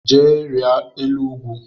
Jee rịa elu ugwu!